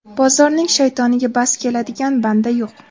Bozorning shaytoniga bas keladigan banda yo‘q.